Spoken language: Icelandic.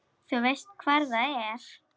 Þú veist hvar það er?